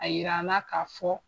A yira an na k'a fɔ